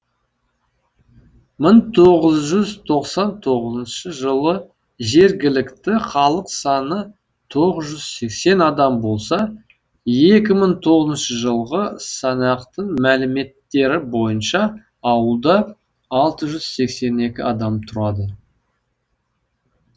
мың тоғыз жүз тоқсан тоғызыншы жылы жергілікті халық саны тоғыз жүз сексен адам болса екі мың тоғызыншы жылғы санақтың мәліметтері бойынша ауылда алты жүз сексен екі адам тұрады